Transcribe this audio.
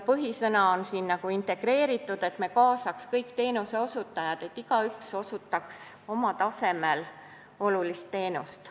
Põhisõna on "integreeritud", st me kaasaks kõik teenuseosutajad, kellest igaüks osutaks oma tasemel olulist teenust.